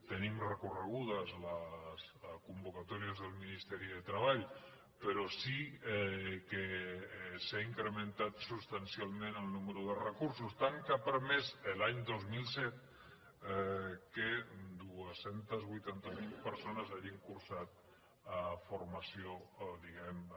tenim recorregudes les convocatòries del ministeri de treball però sí que s’ha incrementat substancialment el nombre de recursos tant que ha permès l’any dos mil set que dos cents i vuitanta miler persones hagin cursat formació diguem ne